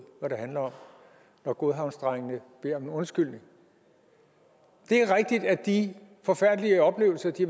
hvad det handler om når godhavnsdrengene beder om en undskyldning det er rigtigt at de forfærdelige oplevelser de